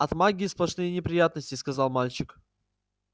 от магии сплошные неприятности сказал мальчик